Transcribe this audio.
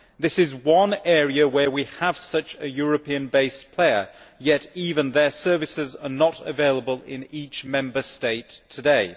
This is one area where we have such a European based player, yet even their services are not available in each Member State today.